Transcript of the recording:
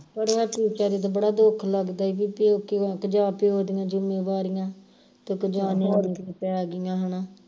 ਬੜਿਆਂ ਬੜਾ ਦੁੱਖ ਲੱਗਦਾ ਈ ਓ ਪੇਕੇ ਵੱਲ ਜਾ ਕੇ ਉਹਦੀਆਂ ਜਿੰਮੇਵਾਰੀਆਂ ਪੈ ਗਈਆ ਹਣਾ